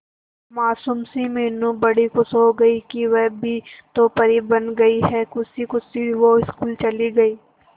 मासूम सी मीनू बड़ी खुश हो गई कि वह भी तो परी बन गई है खुशी खुशी वो स्कूल चली गई